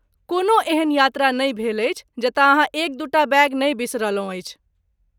कोनो एहन यात्रा नहि भेल अछि जतय अहाँ एक दू टा बैग नहि बिसरलहुँ अछि।